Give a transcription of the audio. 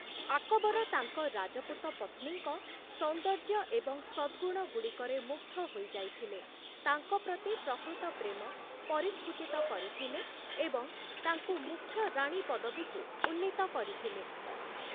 ଆକବର ତାଙ୍କ ରାଜପୁତ ପତ୍ନୀଙ୍କ ସୋନ୍ଦର୍ଯ୍ୟ ଏବଂ ସଦ୍‌ଗୁଣଗୁଡ଼ିକରେ ମୁଗ୍ଧ ହୋଇଯାଇଥିଲେ, ତାଙ୍କ ପ୍ରତି ପ୍ରକୃତ ପ୍ରେମ ପରିସ୍ଫୁଟିତ କରିଥିଲେ ଏବଂ ତାଙ୍କୁ ମୁଖ୍ୟ ରାଣୀ ପଦବୀକୁ ଉନ୍ନୀତ କରିଥିଲେ ।